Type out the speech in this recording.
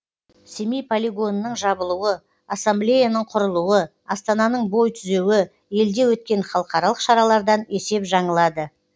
семей полигонының жабылуы ассамблеяның құрылуы астананың бой түзеуі елде өткен халықаралық шаралардан есеп жаңылады